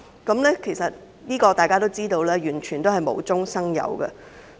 大家都知道這完全是無中生有。